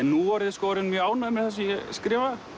núorðið orðinn mjög ánægður með það sem ég skrifa